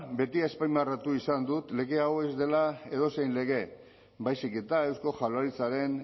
beti azpimarratu izan dut lege hau ez dela edozein lege baizik eta eusko jaurlaritzaren